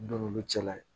Don n'olu cɛla ye